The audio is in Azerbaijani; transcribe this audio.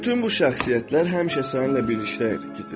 Bütün bu şəxsiyyətlər həmişə səninlə birlikdə hərəkət edir.